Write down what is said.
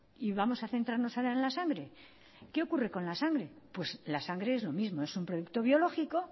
y vamos a centrarnos solo en la sangre qué ocurre con la sangre pues la sangre es lo mismo es un producto biológico